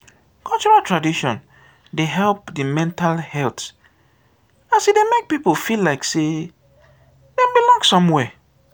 cultural tradition de help di mental health as e dey make pipo feel like sey dem belong somewhere